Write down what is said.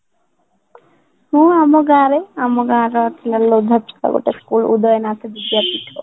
ମୁଁ ଆମ ଗାଁ ରେ ଆମ ଗାଁ ର ଅଛି levort ବୋଲି school ଉଦୟନାଥ ବିଦ୍ୟା ପୀଠ